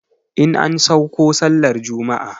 In an sauko sallar juma'a